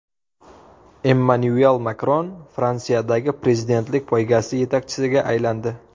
Emmanyuel Makron Fransiyadagi prezidentlik poygasi yetakchisiga aylandi.